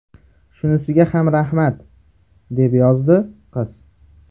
Shunisiga ham rahmat”, deb yozdi qiz.